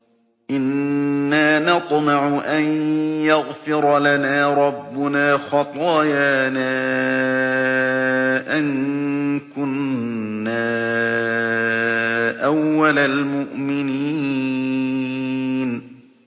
إِنَّا نَطْمَعُ أَن يَغْفِرَ لَنَا رَبُّنَا خَطَايَانَا أَن كُنَّا أَوَّلَ الْمُؤْمِنِينَ